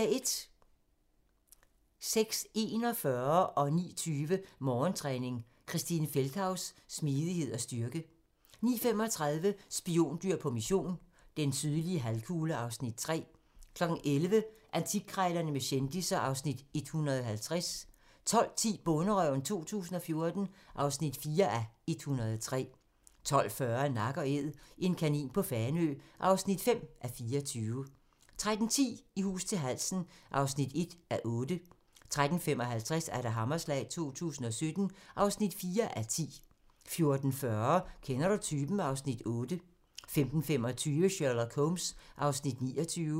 06:41: Morgentræning: Christine Feldthaus - smidighed og styrke 09:20: Morgentræning: Christine Feldthaus - smidighed og styrke 09:35: Spiondyr på mission - den sydlige halvkugle (Afs. 3) 11:00: Antikkrejlerne med kendisser (Afs. 150) 12:10: Bonderøven 2014 (4:103) 12:40: Nak & Æd - en kanin på Fanø (5:24) 13:10: I hus til halsen (1:8) 13:55: Hammerslag 2017 (4:10) 14:40: Kender du typen? (Afs. 8) 15:25: Sherlock Holmes (29:45)